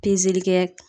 Pezeli kɛ